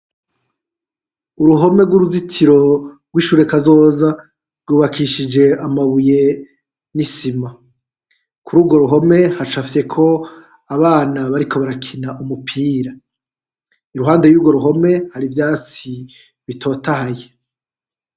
Uruhome rw'uruzitiro rw'ishure kazoza rwubakishije amabuye n'isima, kuri urwo ruhome hacafyeko abana bariko barakina umupira, iruhande y'urwo ruhome hari ivyatsi bitotahaye.